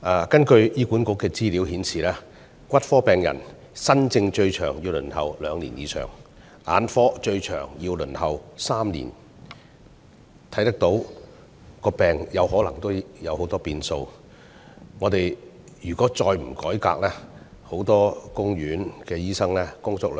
根據醫院管理局資料顯示，骨科新症最長要輪候兩年以上，眼科新症則最長要輪候3年，到病人就診時，病情可能已出現很多變化。